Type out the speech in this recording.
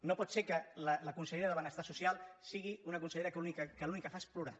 no pot ser que la consellera de benestar social sigui una consellera que l’únic que fa és plorar